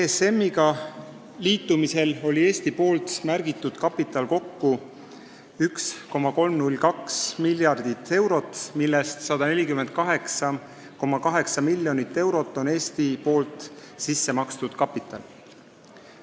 ESM-iga liitumisel oli Eesti märgitud kapital kokku 1,302 miljardit eurot, millest 148,8 miljonit eurot oli sissemakstav kapital.